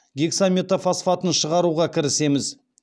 гексаметофосфатын шығаруға кірісеміз